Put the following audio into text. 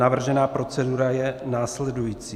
Navržená procedura je následující.